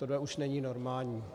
Tohle už není normální.